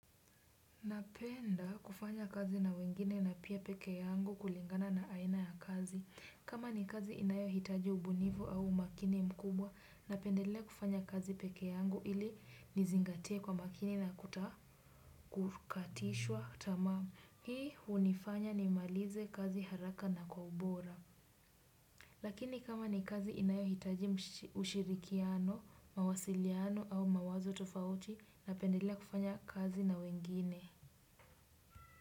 Napenda kufanya kazi na wengine na pia peke yangu kulingana na aina ya kazi, kama ni kazi inayo hitaji ubunifu au umakini mkubwa, napendelea kufanya kazi peke yangu ili nizingatie kwa makini na kukatishwa tamaa. Hii hunifanya ni malize kazi haraka na kwa ubora. Lakini kama ni kazi inayo hitaji ushirikiano, mawasiliano au mawazo tofauti, napendelea kufanya kazi na wengine.